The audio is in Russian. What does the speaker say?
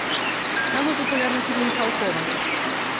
самый популярный фильм михалкова